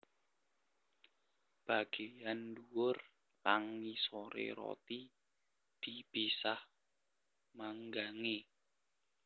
Bageyan ndhuwur lang ngisore roti dipisah manggange